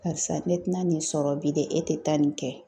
Karisa ne ti na nin sɔrɔ bi dɛ e te taa nin kɛ.